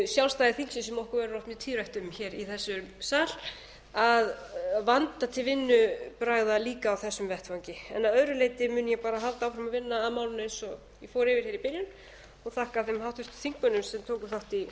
sjálfstæði þingsins sem okkur verður oft mjög tíðrætt um hér í þessum sal að vanda til vinnubragða líka á þessum vettvangi að öðru leyti mun ég bara halda áfram að vinna að málinu eins og ég fór yfir hér í